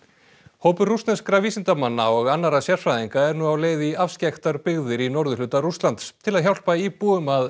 hópur rússneskra vísindamanna og annarra sérfræðinga er nú á leið í afskekktar byggðir í norðurhluta Rússlands til að hjálpa íbúum að